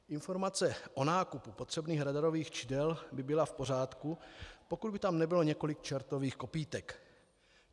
Informace o nákupu potřebných radarových čidel by byla v pořádku, pokud by tam nebylo několik čertových kopýtek.